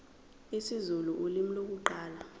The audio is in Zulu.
isizulu ulimi lokuqala